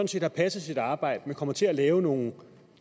set har passet sit arbejde men kommer til at lave nogle